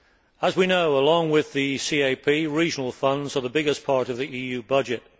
As we know, along with the CAP, regional funds represent the biggest part of the EU budget.